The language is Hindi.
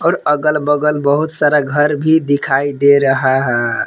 और अगल बगल बहुत सारा घर भी दिखाई दे रहा है।